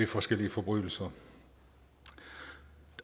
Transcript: forskellige forbrydelser